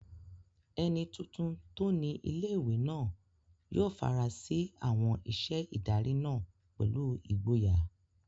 Ẹni tuntun tó ni ilé-ìwé náà yóò fara sí àwọn iṣẹ́ ìdarí náà pẹ̀lú ìgboyà